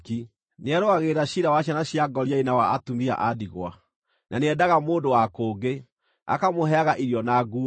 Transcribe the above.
Nĩarũagĩrĩra ciira wa ciana cia ngoriai na wa atumia a ndigwa, na nĩendaga mũndũ wa kũngĩ, akamũheaga irio na nguo.